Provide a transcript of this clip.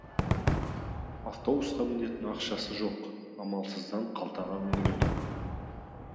автобусқа мінетін ақшасы жоқ амалсыздан қалтаға үңіледі